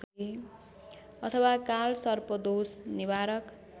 अथवा कालसर्पदोष निवारक